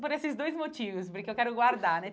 Por esses dois motivos, porque eu quero guardar, né?